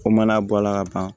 Ko mana bɔ a la ka ban